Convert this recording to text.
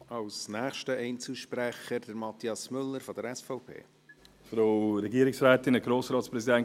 Es wurde vorhin gefragt, wer denn nachher diese Kirchen bezahle, wenn es keine Kirchensteuer mehr gebe.